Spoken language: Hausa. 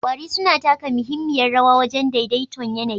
Ƙwari suna taka muhimmiyar rawa wajen daidai ton yAnayi